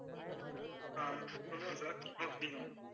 ஆஹ் சொல்லுறேன் sir note பண்ணிக்கோங்க